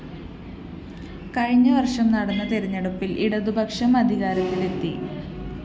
കഴിഞ്ഞവര്‍ഷം നടന്ന തെരഞ്ഞെടുപ്പില്‍ ഇടതുപക്ഷം അധികാരത്തിലെത്തി